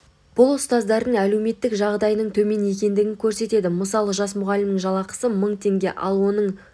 бұл ұстаздардың әлеуметтік жағдайының төмен екендігін көрсетеді мысалы жас мұғалімнің жалақысы мың теңге ал оның